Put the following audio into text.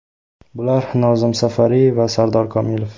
Bular Nozim Safari va Sardor Komilov.